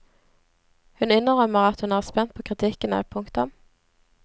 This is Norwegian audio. Hun innrømmer at hun er spent på kritikkene. punktum